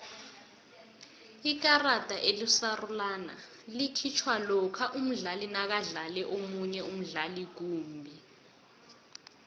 ikarada elisarulana likhitjhwa lokha umdlali nakadlale omunye umdlali kumbi